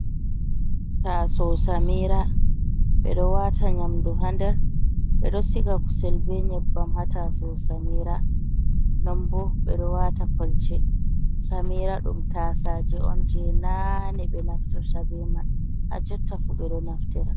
Taasawo samiira ɓe ɗo waata nyamdu haa nder, ɓe ɗo siga kusel bee nyebbam haa taasawo samira non bo ɓe ɗo waata kolce samira ɗum taasaaje on jey naane ɓe naftirta ta bee man haa jotta fuu ɓe ɗo naftira.